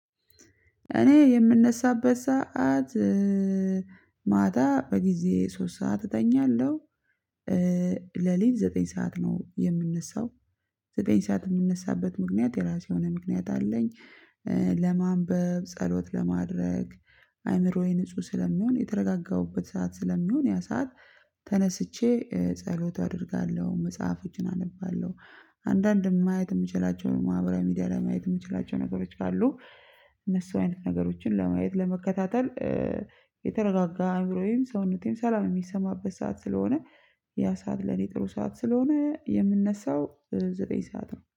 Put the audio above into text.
እኔ የምነሳበት ሰዓት ማታ በጊዜ ሶስት ሰዓት እተኛለሁ ለሊት ዘጠኝ ሰዓት ነው የምነሳው። ዘጠኝ ሰዓት የምነሳበት የራሴው የሆነ ምክንያት አለኝ። ለማንበብ ፈሎት ለማድረግ አይምሮዬን ንጹህ ስለሚሆን የተረጋጋውበት ሰዓት ስለሚሆን ያ ሰዓት ተነስቼ ጸሎት አደርጋለሁ መጻፎችን አነባለሁ። አንዳንድ ማየት የምችላቸው ማህበራዊ ሚዲያ ላይ ማየት የምችላቸው ነገሮች ካሉ እነሱ አይነት ነገሮች ለማየት ለመከታተል። የተረጋጋ አይምሮዬንም ሰዉነቴም ሰላም የሚሰማበት ሰዓት ስለሆነ ያ ሰዓት ለኔ ጥሩ ሰዓት ስለሆነ የምነሳው። በጠኝ ሰዓት ነው